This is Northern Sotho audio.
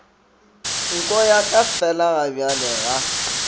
nko ya ka felagabjale ga